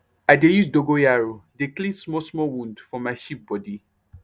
i dey use dogoyaro dey clean small small wound for my sheep body